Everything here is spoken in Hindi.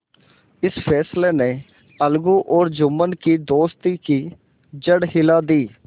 इस फैसले ने अलगू और जुम्मन की दोस्ती की जड़ हिला दी